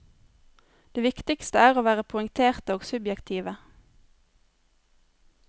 Det viktigste er å være poengterte og subjektive.